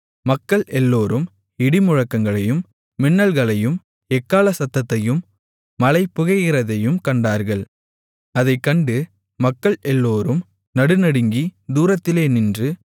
மக்கள் எல்லோரும் இடிமுழக்கங்களையும் மின்னல்களையும் எக்காளச் சத்தத்தையும் மலை புகைகிறதையும் கண்டார்கள் அதைக் கண்டு மக்கள் எல்லோரும் நடு நடுங்கி தூரத்திலே நின்று